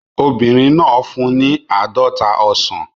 Obìnrin náà fún un ní àádọ́ta ọsàn